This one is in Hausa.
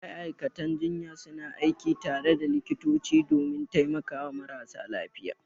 Ma'aikatan jinya suna aiki tare da likitoti domin taimakawa marasa lafiya.